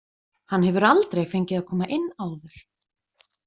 Hann hefur aldrei fengið að koma inn á.